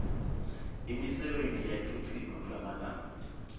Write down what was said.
imisebenti iyachichima kulamalanga